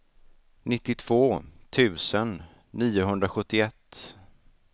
nittiotvå tusen niohundrasjuttioett